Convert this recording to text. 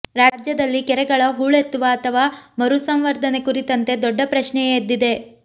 ರಾಜ್ಯದಲ್ಲಿ ಕೆರೆಗಳ ಹೂಳೆತ್ತುವ ಅಥವಾ ಮರುಸಂವರ್ಧನೆ ಕುರಿತಂತೆ ದೊಡ್ಡ ಪ್ರಶ್ನೆಯೇ ಎದ್ದಿದೆ